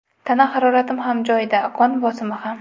Tana haroratim ham joyida, qon bosimi ham.